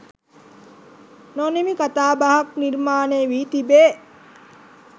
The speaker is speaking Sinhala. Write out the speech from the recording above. නොනිමි කතාබහක් නිර්මාණය වී තිබේ